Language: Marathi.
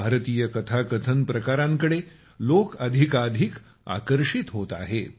भारतीय कथाकथन प्रकारांकडे लोक अधिकाधिक आकर्षित होत आहेत